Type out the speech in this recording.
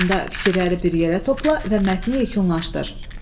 Sonda fikirləri bir yerə topla və mətni yekunlaşdır.